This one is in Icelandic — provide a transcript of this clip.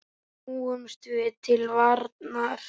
Snúumst því til varnar!